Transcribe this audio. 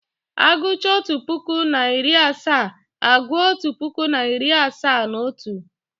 Agucha otu puku na iri asaa, aguo otu puku na iri asaa na otu